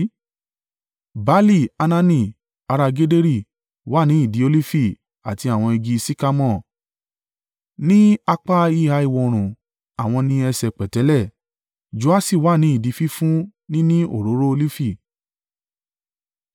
Baali-Hanani ará Gederi wà ní ìdí olifi àti àwọn igi sikamore ní apá ìhà ìwọ̀-oòrùn àwọn ní ẹ̀ṣẹ̀ pẹ̀tẹ́lẹ̀. Joaṣi wà ní ìdí fífún ni ní òróró olifi.